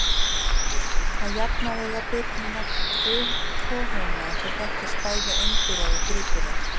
Að jafnaði eiga birnurnar tvo húna en þó þekkjast bæði einburar og þríburar.